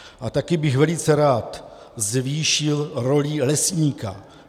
A taky bych velice rád zvýšil roli lesníka.